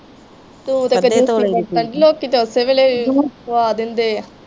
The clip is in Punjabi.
ਤੂੰ ਤੇ ਕਿਤੇ ਤੋਲੇ ਵੇਖਣ ਦੀ ਲੋਕੀ ਤੇ ਉਸੇ ਵੇਲੇ ਪਵਾ ਦਿੰਦੇ ਆ।